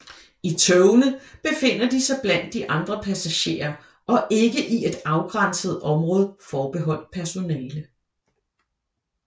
I togene befinder de sig blandt de andre passagerer og ikke i et afgrænset område forbeholdt personale